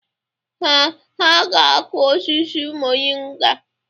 Ee, ha ga-akụ osisi moringa.